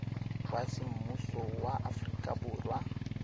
wa semmuso wa aforika borwa